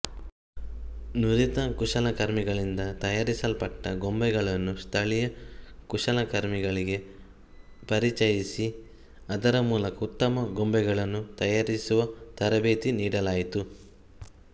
ನುರಿತ ಕುಶಲಕರ್ಮಿಗಳಿಂದ ತಯಾರಿಸಲ್ಪಟ್ಟ ಗೊಂಬೆಗಳನ್ನು ಸ್ಥಳೀಯ ಕುಶಲಕರ್ಮಿಗಳಿಗೆ ಪರಿಚಯಿಸಿ ಅದರ ಮೂಲಕ ಉತ್ತಮ ಗೊಂಬೆಗಳನ್ನು ತಯಾರಿಸುವ ತರಬೇತಿ ನೀಡಲಾಯಿತು